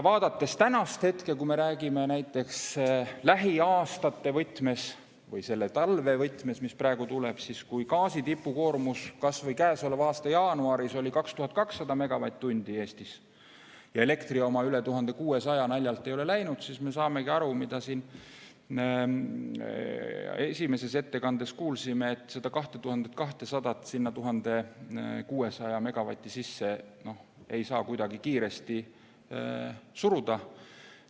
Vaadates tänast hetke, kui me räägime näiteks lähiaastate võtmes või selle talve võtmes, mis praegu tuleb, siis kui gaasi tipukoormus kas või käesoleva aasta jaanuaris oli Eestis 2200 megavatti ja elektri oma üle 1600 naljalt ei ole läinud, siis me saamegi aru, mida me siin esimeses ettekandes kuulsime, et seda 2200 sinna 1600 megavati sisse ei saa kuidagi kiiresti suruda.